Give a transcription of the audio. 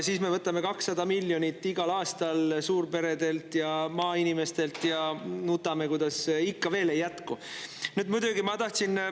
Siis me võtame igal aastal 200 miljonit suurperedelt ja maainimestelt ja nutame, kuidas ikka veel ei jätku.